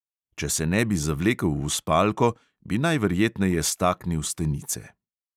Če se ne bi zavlekel v spalko, bi najverjetneje staknil stenice.